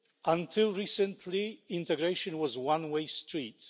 Until recently, integration was a one way street